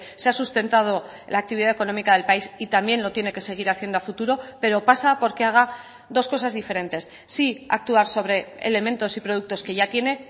se ha sustentado la actividad económica del país y también lo tiene que seguir haciendo a futuro pero pasa porque haga dos cosas diferentes sí actuar sobre elementos y productos que ya tiene